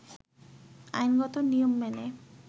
আইনগত নিয়ম মেনে